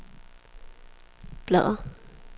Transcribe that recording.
bladr